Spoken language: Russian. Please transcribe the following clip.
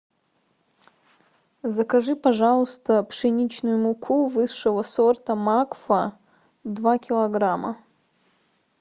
закажи пожалуйста пшеничную муку высшего сорта макфа два килограмма